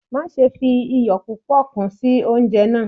Maṣe fi iyọ pupọ kun si ounjẹ naa